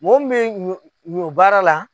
Mɔɔ min be ɲɔ baara la